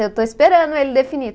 Eu estou esperando ele definir.